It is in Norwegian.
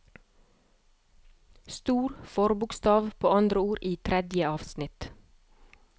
Stor forbokstav på andre ord i tredje avsnitt